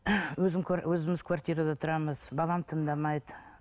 өзім өзіміз квартирада тұрамыз балам тыңдамайды